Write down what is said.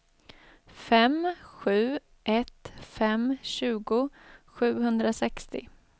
fem sju ett fem tjugo sjuhundrasextio